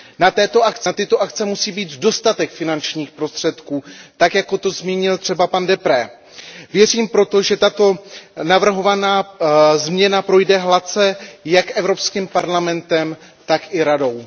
Na tyto akce musí být dostatek finančních prostředků, tak jako to zmínil třeba pan Deprez. Věřím proto, že tato navrhovaná změna projde hladce jak Evropským parlamentem, tak i Radou.